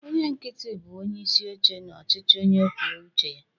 Onye nkịtị bụ onyeisi oche na ọchịchị onye kwuo uche ya